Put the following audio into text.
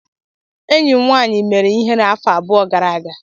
Enyi m nwaanyị mere ihere afọ abụọ gara aga.